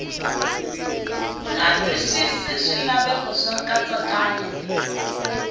nga twisisi swilaveko swa nkatsakanyo